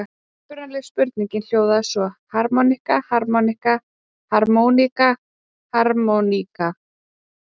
Upprunalega spurningin hljóðaði svo: Harmonika, harmonikka, harmóníka, harmoníka?